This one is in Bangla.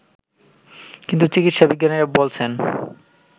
কিন্তু চিকিৎসা বিজ্ঞানীরা বলছেন